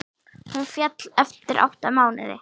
Hún féll eftir átta mánuði.